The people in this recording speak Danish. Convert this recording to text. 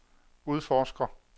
udforsker